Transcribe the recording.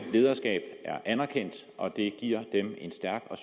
lederskab er anerkendt og det giver dem en stærk og